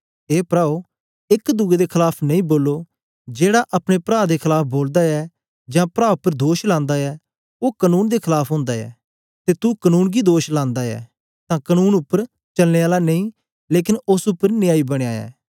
ए प्राओ एक दुए दे खलाफ नेई बोलो जेड़ा अपने प्रा दे खलाफ बोलदा ऐ जां प्रा उपर दोष लांदा ऐ ओ कनून दे खलाफ ओंदा ऐ ते तू कनून गी दोष लांदा ऐ तां कनून उपर चलने आला नेई लेकन ओस उपर न्यायी बनया ऐ